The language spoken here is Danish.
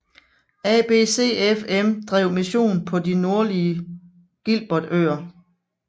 ABCFM drev mission på de nordlige Gilbertøer